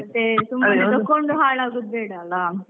ಮತ್ತೆ ಸುಮ್ನೆ ಹಾಳಾಗೋದು ಬೇಡ ಅಲ.